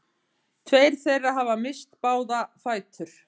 Tveir þeirra hafa misst báða fætur